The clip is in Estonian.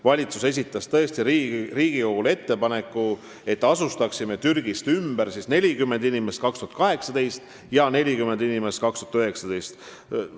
Valitsus esitas tõesti Riigikogule ettepaneku, et me asustaksime Türgist ümber 40 inimest 2018. aastal ja 40 inimest 2019. aastal.